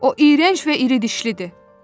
"O iyrənc və iridişlidir!